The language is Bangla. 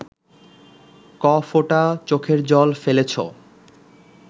ক ফোঁটা চোখের জল ফেলেছো